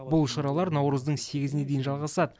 бұл шаралар наурыздың сегізіне дейін жалғасады